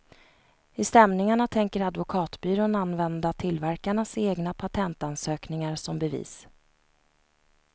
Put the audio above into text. I stämningarna tänker advokatbyrån använda tillverkarnas egna patentansökningar som bevis.